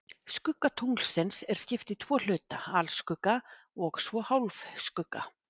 Skugga tunglsins er skipt í tvo hluta, alskugga og svo hálfskugga.